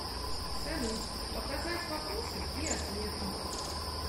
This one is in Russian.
салют показать вопросы и ответы